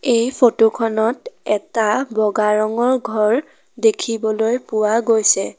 এই ফটোখনত এটা বগা ৰঙৰ ঘৰ দেখিবলৈ পোৱা গৈছে।